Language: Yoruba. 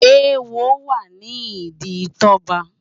Éwó wá ni idi Toba